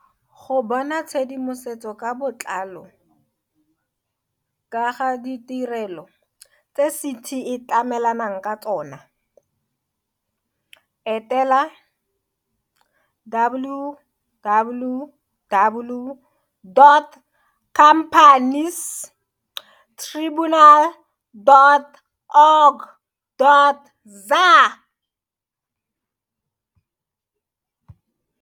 Go bona tshedimosetso ka botlalo ka ga ditirelo tse CT e tlamelanang ka tsona, etela, www dot companiestribunal dot org dot za.